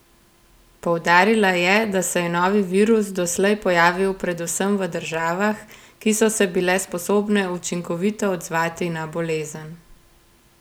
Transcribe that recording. Poudarila je, da se je novi virus doslej pojavil predvsem v državah, ki so se bile sposobne učinkovito odzvati na bolezen.